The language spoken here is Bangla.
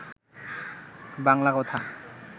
বাংলা কথা